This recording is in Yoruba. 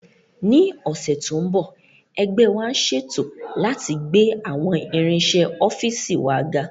Ní ọ̀sẹ̀ tó ń bọ̀, ẹgbẹ́ wa ń ṣètò láti gbé àwọn irinṣẹ́ ọ́fíìsì wa ga